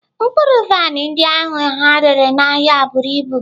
Mkpụrụ vaịn ndị ahụ ha rere n'ahịa buru ibu.